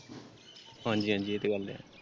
ਹਾਂਜੀ ਹਾਂਜੀ ਇਹ ਤੇ ਗੱਲ ਹੈ ।